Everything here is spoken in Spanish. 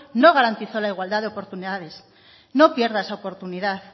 no garantizó la igualdad de oportunidades no pierda esa oportunidad